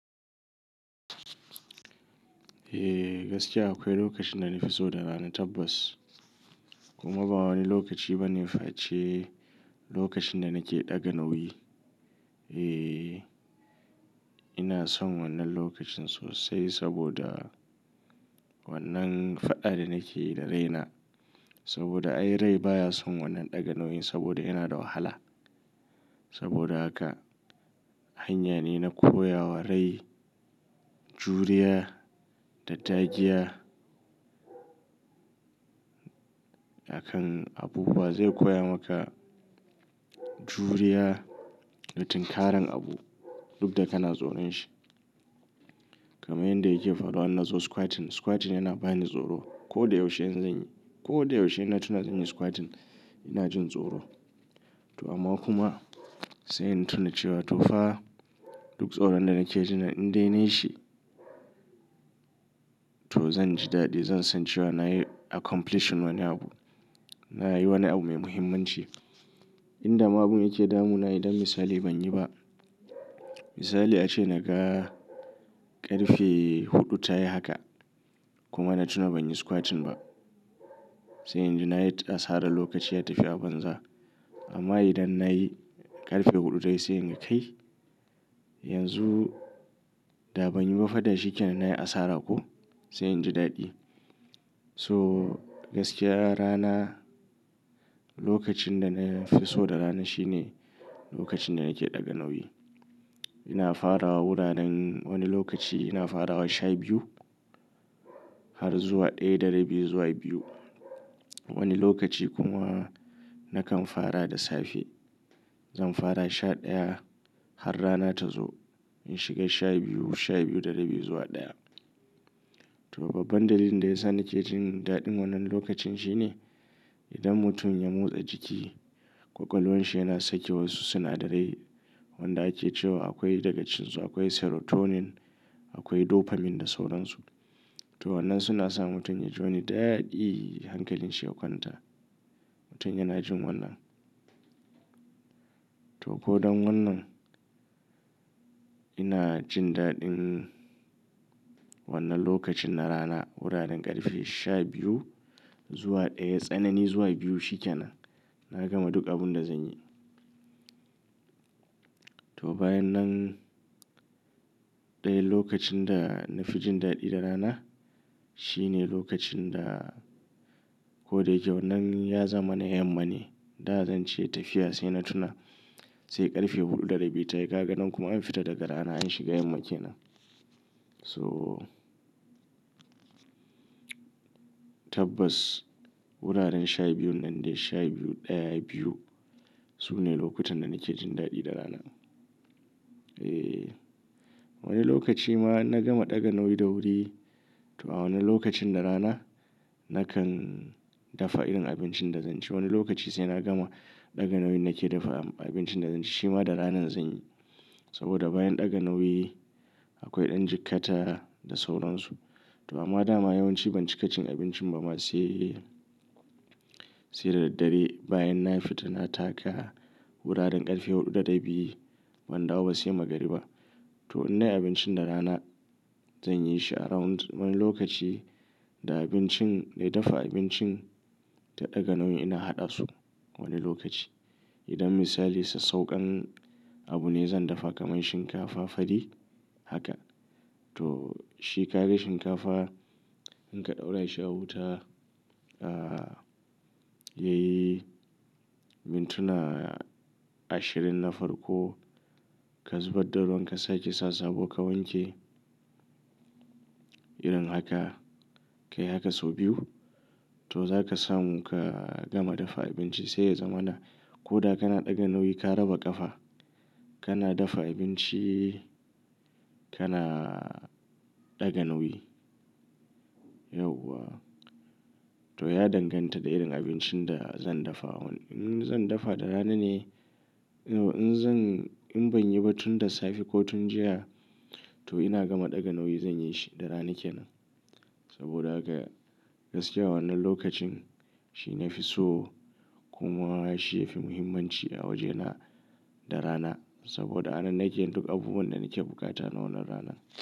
Eh, gaskiya akwai lokacin da na fi so da rana tabbas. Kuma ba wani lokaci ba ne fa ce lokacin da nake ɗaga nauyi. Eh, ina son wannan lokacin sosai saboda wannan faɗa ɗa nake yi da raina. Saboda ai rai baya son wannan ɗaga nauyin saboda yana da wahala. Saboda haka hanya ne na koya wa rai juriya da dagiya. Akan abu wa zai koya maka juriya da tinkaran abu duk da kana tsoron shi. Kaman in da yake faruwa ina zo squatting. Squatting yana bani tsoro. Ko da yaushe in zanyi, ko da yaushe ina tuna zanyi squatting ina jin tsoro. To amma kuma sai in tuna cewa to fa duk tsoron da nake ji nan dai na yi shi. To zan ji daɗi, zan san cewa na yi accomplishing wani abu. Na yi wani abu mai muhimmanci. In da abu yake damu na, idan misali ban yi ba. Misali ace na ga ƙarfe huɗu ta yi haka kuma na tuna ban yi squatting ba. Sai inji na yi asara lokaci ya tafi a banza. Amma idan na yi ƙarfe huɗu ta yi sai in ga kai. Yanzu da ban yi ba fa da shikenan na yi asara ko? Sai inji daɗi. To gaskiya rana lokacin da na fi so da rana shine lokacin da nake ɗaga nauyi. Ina fara wuraren wani lokaci ina fara wa sha biyu har zuwa ɗaya da rabi zuwa biyu. Wani lokaci kuma nakan fara da safe. Zan fara sha ɗaya har rana ta zo in shiga sha biyu, sha biyu da rabi zuwa ɗaya. To babban dalilin da ya sa nake jin daɗin wannan lokacin shine idan mutum ya motsa jiki ƙwaƙwalonsa yana saki wasu sinadarai wanda ake cewa akwai daga cikin su akwai serotonin, akwai dopamine da sauran su. To wannan suna sa mutum ya ji wani daɗi hankalinsa yakwanta. Mutum yana jin wannan. To ko don wannan ina jin daɗin wannan lokacin na rana wuraren ƙarfe sha biyu zuwa ɗaya tsanani zuwa biyu shikenan. Na gama duk abun da zan yi. To bayan nan ɗaya lokacin da na fi jin daɗi da rana shine lokacin da ko da yake wannan ya zama na yamma ne. Da zan ce tafiya sai na tuna sai ƙarfe huɗu da rabi ta yi. Ka ga nan kuma an fita daga rana an shiga yamma kenan. So tabbas wuraren sha biyun nan dai sha biyu ɗaya, biyu su ne lokutan da nake jin daɗi da rana. Eh, wani lokaci ma na gama ɗaga nauyi da wuri. To a wani lokacin na rana nakan dafa irin abincin da zan ci. Wani lokaci sai na gama ɗaga nauyin nake dafa abincin da zan ci shima da rana zan yi. Saboda bayan ɗaga nauyi akwai ɗan jikkata da sauran su. To amma dama yawanci ban cika cin abincin ba ma sai, sai da daddare bayan na fita na taka wuraren ƙarfe huɗu da rabi ban dawo ba sai magariba. To in dai abincin da rana zan yi shi around wani lokaci da abincin dai dafa abincin da ɗaga nauyin ina haɗa su wani lokaci. Idan misali sai saukan abu ne zan dafa kamar shinkafa fari haka. To shi ka ga shinkafa in ka ɗaura shi a wuta, ah, yayi mintuna ashirin na farko ka zubar da ruwan ka sake sa sabo ka wanke. Irin haka ka yi haka sau biyu. To za ka samu ka gama dafa abinci sai ya zama na. Ko da kana ɗaga nauyi ka raba ƙafa kana dafa abinci kana ɗaga nauyi. Yauwa. To ya danganta da irin abincin da zan dafa. In zan dafa da rana ne in zan in ban yi ba tun da safe ko tun jiya to ina gama ɗaga nauyi zan yi shi da rana kenan. Saboda haka gaskiya wannan lokacin shine na fi so kuma shi yafi muhimmanci a wajena da rana. Saboda a nan nake yin duk abubuwan da nake bukata na wannan rana.